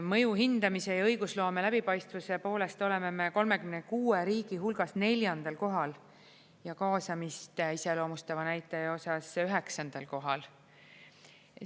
Mõju hindamise ja õigusloome läbipaistvuse poolest oleme me 36 riigi hulgas neljandal kohal ja kaasamist iseloomustava näitaja osas üheksandal kohal.